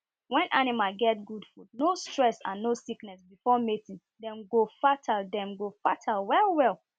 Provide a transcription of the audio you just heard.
when animal get good food no stress and no sickness before mating dem go fertile dem go fertile well well